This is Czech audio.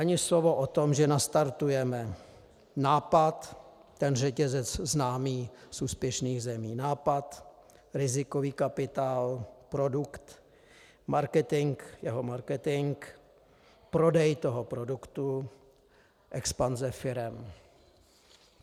Ani slovo o tom, že nastartujeme nápad, ten řetězec známý z úspěšných zemí: nápad, rizikový kapitál, produkt, marketing, jeho marketing, prodej toho produktu, expanze firem.